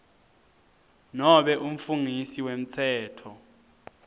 nobe umfungisi wemtsetfo